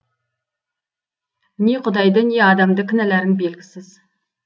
не құдайды не адамды кінәларың белгісіз